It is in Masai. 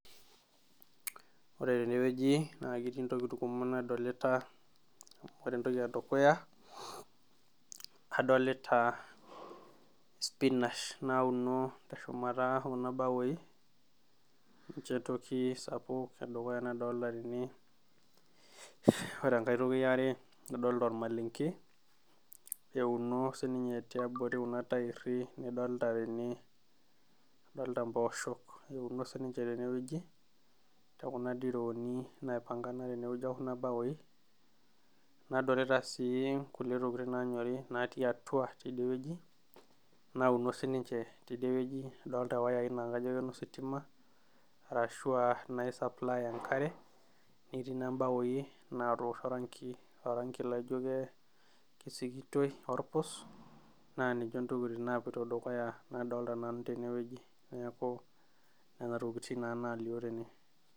Ore tenewueji naa ketii ntokitin kumok nadolita , ore entoki edukuya , adolita spinach nauno teshumata kuna baoi ninche toki sapuk nadolta tene, ore enkae toki eare , adolta ormalenke euno sininye tiabori kuna tairi nidolita tene, adolta mposhok euno sininche tenewueji tekuna dirooni naipangana tenewueji ekuna baoi , nadolita sii kulie tokitin nanyori natii atua tidie wueji nauno sininche tidie wueji, adolita wayai naa kajo inositima arashua naisupply enkare netii naa mbaoi naosho oranki, oranki laijo ke kisikitoi , orpus naa ninche ntokitin napuito dukuya nadolta nanu tene wueji neeku nena tokitin naa naalio tene.